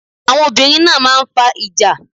Àwọn obìnrin náà máa ń fa ìjà.